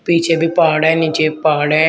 पीछे भी पहाड़ है नीचे भी पहाड़ है।